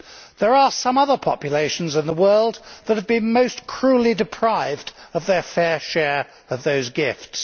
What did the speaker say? There are some other populations in the world that have been most cruelly deprived of their fair share of those gifts.